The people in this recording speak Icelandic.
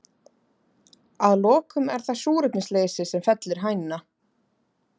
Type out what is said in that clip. Að lokum er það súrefnisleysi sem fellir hænuna.